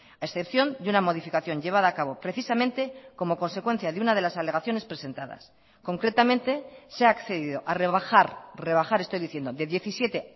a excepción de una modificación llevada a cabo precisamente como consecuencia de una de las alegaciones presentadas concretamente se ha accedido a rebajar rebajar estoy diciendo de diecisiete